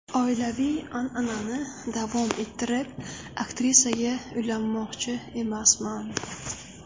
Oilaviy an’anani davom ettirib aktrisaga uylanmoqchi emasman.